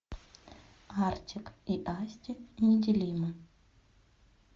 артик и асти неделимы